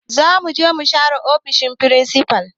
Zamuje mu share ofishin firinsifal